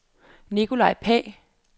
Nikolaj Pagh